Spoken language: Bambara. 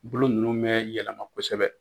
bolo ninnu bɛ yɛlɛma kosɛbɛ